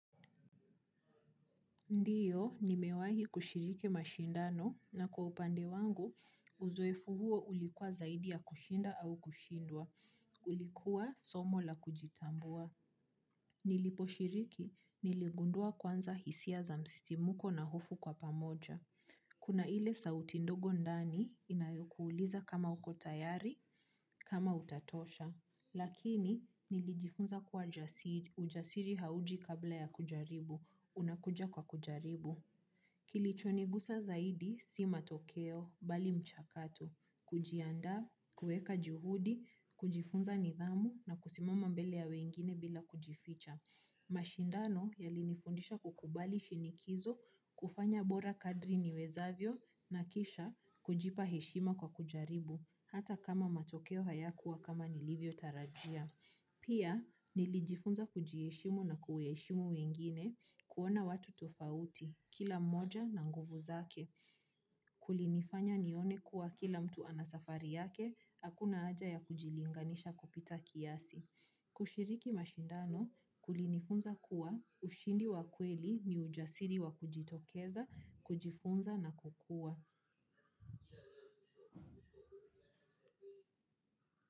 Ndio, nimewahi kushiriki mashindano na kwa upande wangu, uzoefu huo ulikuwa zaidi ya kushinda au kushindwa. Ulikua somo la kujitambua. Niliposhiriki, niligundua kwanza hisia za msisi muko na hofu kwa pamoja. Kuna ile sauti ndogo ndani, inayokuuliza kama uko tayari, kama utatosha. Lakini, nilijifunza kwa jasiri ujasiri hauji kabla ya kujaribu. Unakuja kwa kujaribu. Kilichonigusa zaidi si matokeo, bali mchakato, kujiandaa, kuweka juhudi, kujifunza nidhamu na kusimama mbele ya wengine bila kujificha. Mashindano, yalinifundisha kukubali shinikizo, kufanya bora kadri niwezavyo na kisha kujipa heshima kwa kujaribu, hata kama matokeo haya kuwa kama nilivyo tarajia. Pia, nilijifunza kujiheshimu na kuweshimu wengine, kuona watu tofauti, kila mmoja na nguvu zake. Kulinifanya nione kuwa kila mtu anasafari yake, akuna haja ya kujilinganisha kupita kiasi. Kushiriki mashindano, kulinifunza kuwa, ushindi wa kweli, ni ujasiri wa kujitokeza, kujifunza na kukua.